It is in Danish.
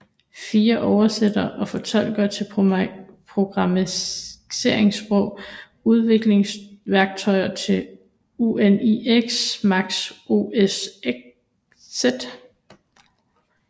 Frie oversættere og fortolkere til programmeringssprog Udviklingsværktøjer til UNIX Mac OS X